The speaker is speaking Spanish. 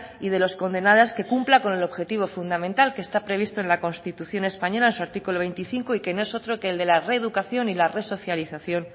y de los condenados que cumpla con el objetivo fundamental que está previsto en la constitución española en su artículo veinticinco y que no es otro que el de la reeducación y la resocialización